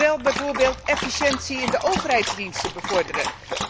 Maar wel bijvoorbeeld efficiëntie in de overheidsdiensten bevorderen.